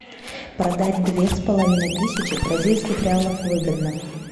продать две с половиной тысячи бразильских реалов выгодно